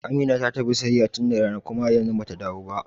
Amina ta tafi siyayya tun da rana kuma har yanzu bata dawo ba.